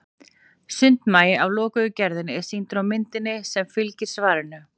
sundmagi af lokuðu gerðinni er sýndur á myndinni sem fylgir svarinu